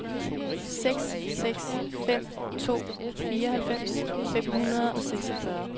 seks seks fem to fireoghalvfems fem hundrede og seksogfyrre